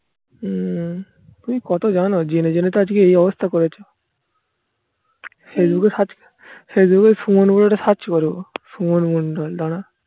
হম তুমি কত জানো? জেনে জেনে তো আজকে এই অবস্থা করেছো facebook এ search facebook এ সুমন বলে একটা search করে দেবো সুমন মন্ডল দাঁড়া